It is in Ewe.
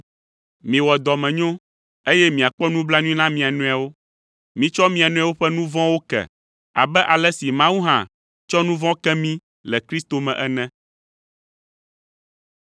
Miwɔ dɔmenyo, eye miakpɔ nublanui na mia nɔewo. Mitsɔ mia nɔewo ƒe nu vɔ̃wo ke abe ale si Mawu hã tsɔ nu vɔ̃ ke mí le Kristo me ene.